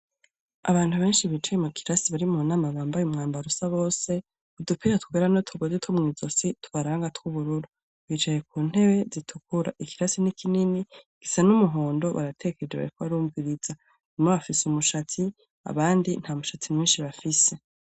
Abantu benshi bicaye mu kirasi bari munama bambaye umwambaro usa bose ,udupira twera nutugozi Two mwisozi tubaranga tw'ubururu .Bicaye ku ntebe zitukura, ikirasi n'ikinini gisa n'umuhondo, ko barumviriza umwa bafise umushatsi abandi nta mushatsi menshi bafise.